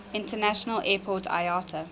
international airport iata